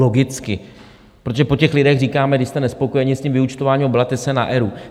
Logicky, protože po těch lidech říkáme, když jste nespokojeni s tím vyúčtováním, obraťte se na ERÚ.